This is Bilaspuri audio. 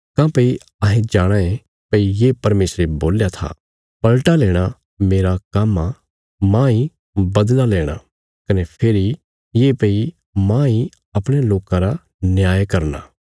काँह्भई अहें जाणाँ ये भई ये परमेशरे बोल्या था पलटा लेणा मेरा काम्म आ माह इ बदला लेणा कने फेरी ये भई मांह इ अपणयां लोकां रा न्याय करना